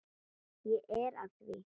Ég er að því.